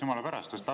Jumala pärast!